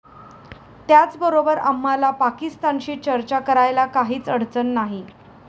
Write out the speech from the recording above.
त्याचबरोबर आम्हाला पाकिस्तानशी चर्चा करायला काहीच अडचण नाही.